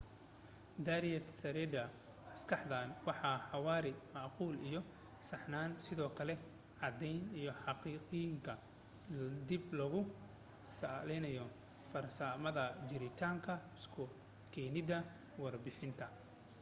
diarad saarida maskaxdan waa xawaare macquul iyo saxsanaan sidoo kale cadeenta xaqiiqoyinka dib loogu saleynayo farsamada jiritaanka isu keenida warbixinta